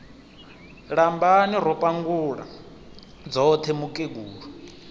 lambani ro pangula dzoṱhe mukegulu